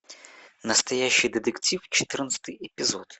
настоящий детектив четырнадцатый эпизод